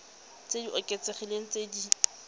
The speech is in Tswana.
tse di oketsegileng tse di